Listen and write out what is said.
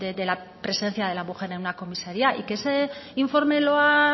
de la presencia de la mujer en una comisaria y que ese informe lo ha